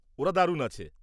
ওরা দারুণ আছে।